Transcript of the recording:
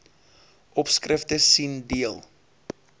opskrifte sien deel